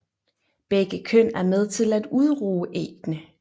Begge køn er med til at udruge æggene